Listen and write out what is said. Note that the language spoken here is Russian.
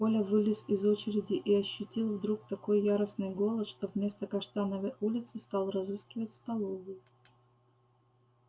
коля вылез из очереди и ощутил вдруг такой яростный голод что вместо каштановой улицы стал разыскивать столовую